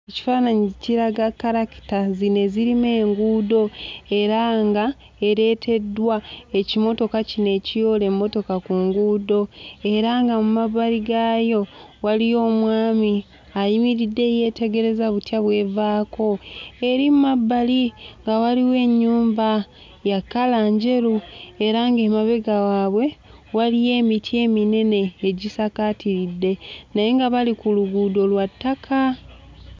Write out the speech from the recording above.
Ekifaananyi kiraga kkalakita zino ezirima enguudo era nga ereeteddwa ekimotoka kino ekiyoola emmotoka ku nguudo. Era nga mu mabbali gaayo waliyo omwami ayimiridde eyeetegereza butya bw'evaako. Eri mu mabbali nga waliwo ennyumba ya kkala njeru era ng'emabega waabwe waliyo emiti eminene egisakaatiridde. Naye nga bali ku luguudo lwa ttaka.